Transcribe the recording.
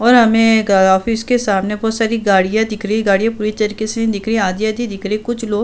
और हमे गा ऑफिस के सामने बहोत सारी गाड़ियां दिख रही हैं। गाड़ियां पूरी तरह से नही दिख रही हैं। आधी-आधी दिख रही हैं। कुछ लोग --